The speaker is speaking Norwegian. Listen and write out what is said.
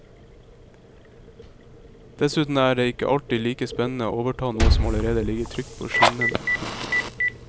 Dessuten er det ikke alltid like spennende å overta noe som allerede ligger trygt på skinnene. punktum